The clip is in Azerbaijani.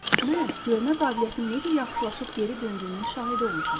Mən görmə qabiliyyətinin necə yaxşılaşıb geri döndüyünün şahidi olmuşam.